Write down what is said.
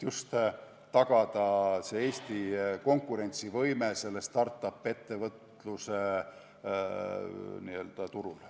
Tuleb tagada Eesti konkurentsivõime sellel start-up-ettevõtluse turul.